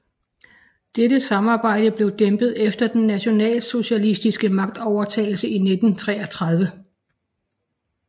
Dette samarbejde blev dæmpet efter den nationalsocialistiske magtovertagelse i 1933